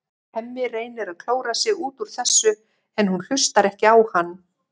Hemmi reynir að klóra sig út úr þessu en hún hlustar ekki á hann.